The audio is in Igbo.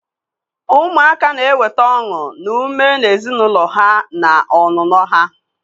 Ụmụaka na-eweta ọṅụ na ume na ezinụlọ ha na ọnụnọ ha.